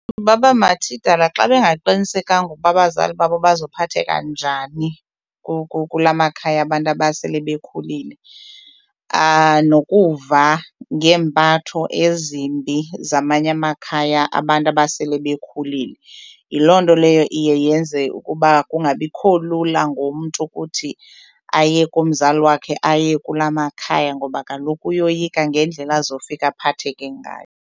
Baba mathidala xa bengaqinisekanga ukuba abazali babo bazophatheka njani kula makhaya abantu abasele bekhulile nokuva ngempatho ezimbi zamanye amakhaya abantu abasele bekhulile. Yiloo nto leyo iye yenze ukuba kungabikho lula ngomntu ukuthi aye kumzali wakhe aye kula makhaya ngoba kaloku uyoyika ngendlela azofika aphatheke ngayo.